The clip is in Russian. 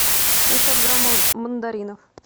семьсот грамм мандаринов